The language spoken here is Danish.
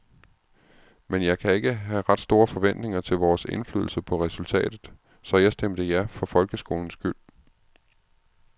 Men jeg kan ikke have ret store forventninger til vores indflydelse på resultatet, så jeg stemte ja for folkeskolens skyld.